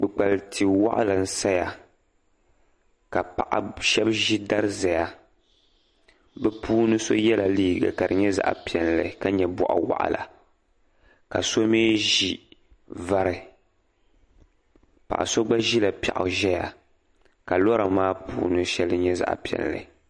kpukpaliti' waɣila n-saya ka paɣ' shɛba ʒi dari zaya bɛ puuni so yɛla liiga ka di zaɣ' piɛlli ka nyɛ bɔɣiwaɣila ka so mi ʒi vari paɣa so gba ʒila piɛɣu zaya ka lɔra maa puuni shɛli nyɛ zaɣ' piɛlli